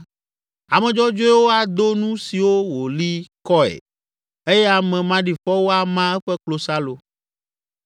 ame dzɔdzɔewo ado nu siwo wòli kɔe eye ame maɖifɔwo ama eƒe klosalo.